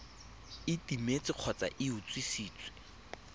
e timetse kgotsa e utswitswe